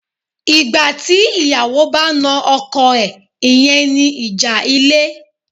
Ìgbà tí ìyàwó bá na ọkọ̀ ẹ̀, ìyẹn ni ìjà ilé.